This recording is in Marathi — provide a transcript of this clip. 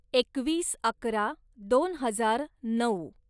एकवीस अकरा दोन हजार नऊ